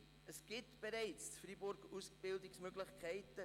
In Freiburg gibt es bereits Ausbildungsmöglichkeiten.